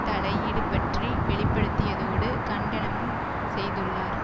தலையீடு பற்றி வெளிப்படுத்தியதோடு கண்டனமும் செய்துள்ளார்